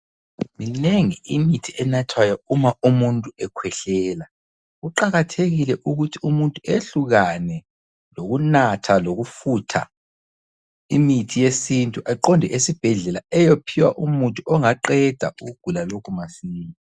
Minengi imithi enathwayo uma umuntu ekhwehlela. Kuqakathekile ukuthi umuntu eyehlukane lokunatha lokufutha imithi yesintu eqonde esibhedlela eyophiwa umuthi ongaqeda ukugula lokhu masinya.